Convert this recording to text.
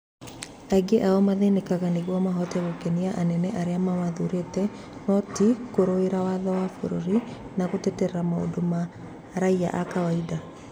Aingĩ ao mathenekaga nĩguo mahote gũkenia anene arĩa mamathurĩte no ti kũrũĩrĩra watho wa bũrũri na gũtetera maũndo ma raĩa a kawaida.